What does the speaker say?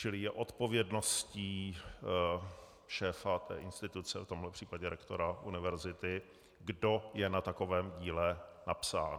Čili je odpovědností šéfa té instituce, v tomhle případě rektora univerzity, kdo je na takovém díle napsán.